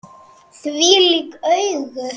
Þvílík augu!